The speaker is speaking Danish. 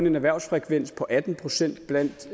en erhvervsfrekvens på atten procent blandt